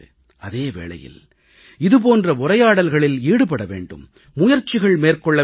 அதே வேளையில் இது போன்ற உரையாடல்களில் ஈடுபட வேண்டும் முயற்சிகள் மேற்கொள்ள வேண்டும்